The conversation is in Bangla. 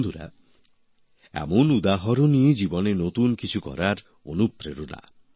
বন্ধুরা এমন উদাহরণই জীবনে নতুন কিছু করার অনুপ্রেরণা